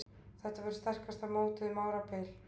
Þetta verður sterkasta mótið um árabil